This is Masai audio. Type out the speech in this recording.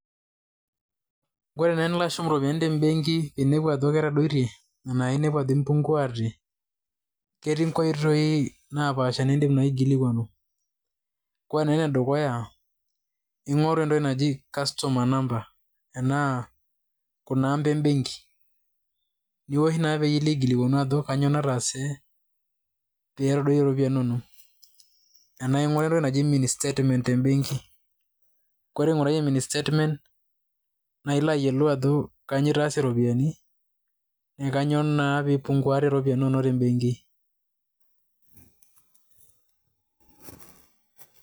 Ore naa tenilo ashum irropiyiani te mbenki inepuna ajo ketadoitie enaa inepu ajo mpunguate ketii nkoitoi napaasha nidim naa aikilikuanu. Ore naa ene dukuya ng`oru entoki naji customer number ENAA kuna aamba e mbenki niwosh naa pee ilo aikilikuanu ajo kajio nataaasae pee etadoyie ropiyiani inonok. Enaa ing`uraa entoki naji mini statement te mbenki. Ore ing`urayie mini statement naa ilo ayiolou ajo kainyio itaasie irropiyiani na kainyioo naa pee ipunguate irropiyiani inonok te benki.